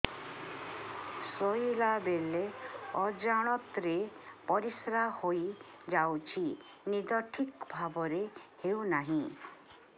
ଶୋଇଲା ବେଳେ ଅଜାଣତରେ ପରିସ୍ରା ହୋଇଯାଉଛି ନିଦ ଠିକ ଭାବରେ ହେଉ ନାହିଁ